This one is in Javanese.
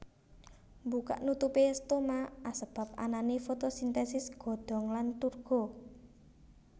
Mbukak nutupé stoma asebab anané fotosintèsis godhong lan turgo